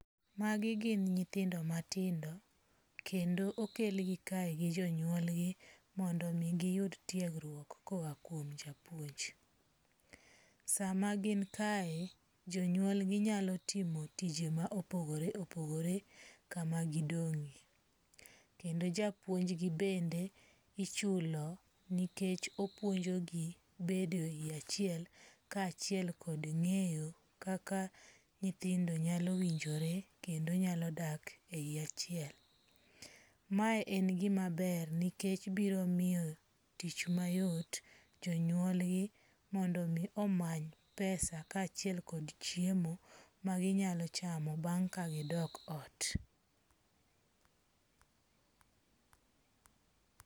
Magi gin nyithindo matindo kendo okel gi kae gi jonyuolgi mondi mi giyud tiegruok koa kuom japuonj. Sama gin kae jonyuolginyalo timo tije ma opogore opogore kama gidong'e. Kendo japuonjgi bende ichulo nikech opuonjo gi bedo e yi achiel ka achiel kod ng'eyo kaka nyithindo nyalo winjore kendo nyalo dak e yie achie. Mae en gima ber nikech biro miyo tich mayot jonyuolgi mondo mi omany pesa ka achiel kod chiemo ma ginyalo chamo bang' ka gidok ot.